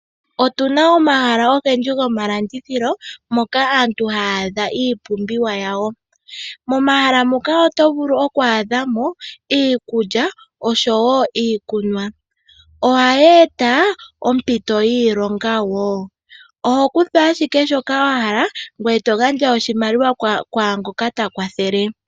Otuna omahala ogendji gomalandithilo, moka aantu haya adha iipumbiwa yawo. Momahala muka oto vulu oku adhamo iikulya noshowo iikunwa. Ohayeeta ompito yiilonga wo. Oho kutaha ashike shoka wahala ngweye togandja ishimaliwa kwaangoka takwathele.